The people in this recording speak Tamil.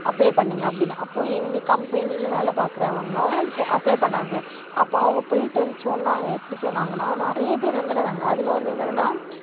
apply பண்ணுங்க அப்படின்னு அப்போ எங்க company ல வேலை பார்க்கிறவங்களும் apply பண்ணாங்க அப்ப அவங்க போயிட்டு வந்து சொன்னாங்க எப்படி சொன்னாங்கன்னா நிறைய பேர் வந்திருந்தாங்க அதுல வந்து என்னதுன்னா